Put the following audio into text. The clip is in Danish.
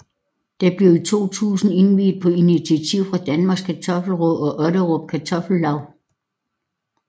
Det blev i 2000 indviet på initiativ fra Danmarks Kartoffel Råd og Otterup Kartoffellaug